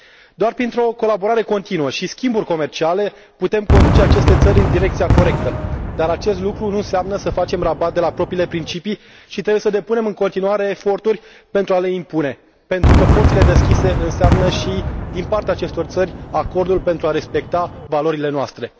Doar printr o colaborare continuă și schimburi comerciale putem conduce aceste țări în direcția corectă, dar acest lucru nu înseamnă să facem rabat de la propriile principii și trebuie să depunem în continuare eforturi pentru a le impune, pentru că porțile deschise înseamnă și, din partea acestor țări, acordul pentru a respecta valorile noastre.